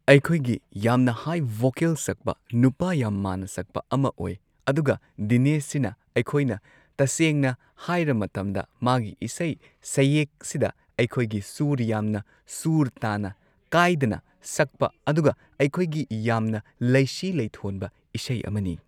ꯑꯩꯈꯣꯏꯒꯤ ꯌꯥꯝꯅ ꯍꯥꯏ ꯚꯣꯀꯦꯜ ꯁꯛꯄ ꯅꯨꯄꯥ ꯌꯥꯝ ꯃꯥꯟꯅ ꯁꯛꯄ ꯑꯃ ꯑꯣꯏ ꯑꯗꯨꯒ ꯗꯤꯅꯦꯁ ꯁꯤꯅ ꯑꯩꯈꯣꯏꯅ ꯇꯁꯦꯡꯅ ꯍꯥꯏꯔ ꯃꯇꯝꯗ ꯃꯥꯒꯤ ꯏꯁꯩ ꯁꯩꯌꯦꯛ ꯁꯤꯗ ꯑꯩꯈꯣꯏꯒꯤ ꯁꯨꯔ ꯌꯥꯝꯅ ꯁꯨꯔ ꯇꯥꯅ ꯀꯥꯏꯗꯅ ꯁꯛꯄ ꯑꯗꯨꯒ ꯑꯩꯈꯣꯏꯒꯤ ꯌꯥꯝꯅ ꯂꯩꯁꯤ ꯂꯩꯊꯣꯟꯕ ꯏꯁꯩ ꯑꯃꯅꯤ꯫